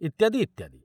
ଇତ୍ୟାଦି, ଇତ୍ୟାଦି।